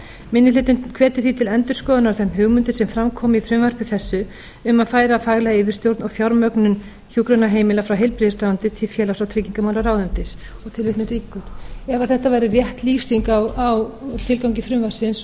minni hlutinn hvetur því til endurskoðunar á þeim hugmyndum sem fram koma í frumvarpi þessu um að færa faglega yfirstjórn og fjármögnun hjúkrunarheimila frá heilbrigðisráðuneyti til félags og tryggingamálaráðuneytis ef þetta væri rétt lýsing á tilgangi frumvarpsins